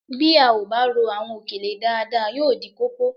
Bí a ò bá rò àwọn òkèlè dáadáa yóò dí kókó